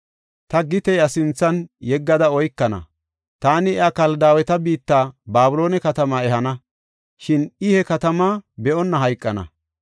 Ta gite iya sinthan yeggada oykana. Taani iya Kaldaaweta biitta Babiloone katamaa ehana; shin I he katamaa be7onna hayqana.